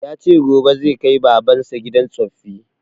Ya ce gobe zai kai baban sa gidan tsoffi